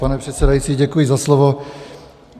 Pane předsedající, děkuji za slovo.